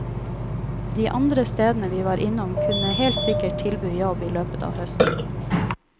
De andre stedene vi var innom kunne helt sikkert tilby jobb i løpet av høsten.